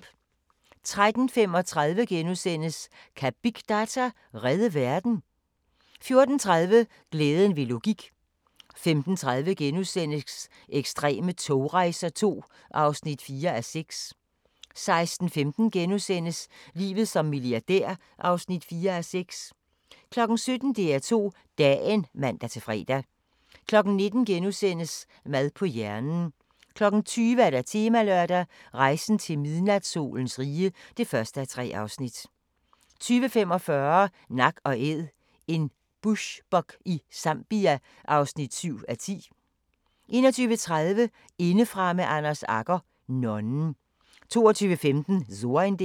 13:35: Kan big data redde verden? * 14:30: Glæden ved logik 15:30: Ekstreme togrejser II (4:6)* 16:15: Livet som milliardær (4:6)* 17:00: DR2 Dagen (man-fre) 19:00: Mad på hjernen * 20:00: Temalørdag: Rejsen til midnatssolens rige (1:3) 20:45: Nak & Æd – en bushbuck i Zambia (7:10) 21:30: Indefra med Anders Agger - nonnen 22:15: So ein Ding